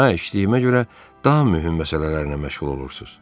Hə, işlədiyimə görə daha mühüm məsələlərlə məşğul olursunuz.